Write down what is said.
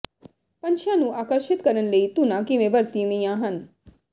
ਪੰਛੀਆਂ ਨੂੰ ਆਕਰਸ਼ਿਤ ਕਰਨ ਲਈ ਧੁਨਾਂ ਕਿਵੇਂ ਵਰਤਣੀਆਂ ਹਨ